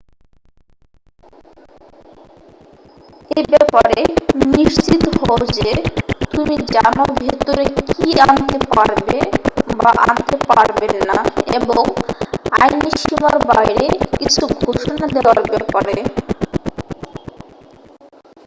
এ ব্যাপারে নিশ্চিত হও যে তুমি জানো ভেতরে কি আনতে পারবে বা আনতে পারবে না এবং আইনী সীমার বাইরে কিছু ঘোষণা দেয়ার ব্যাপারে